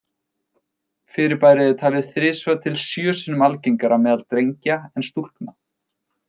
Fyrirbærið er talið þrisvar til sjö sinnum algengara meðal drengja en stúlkna.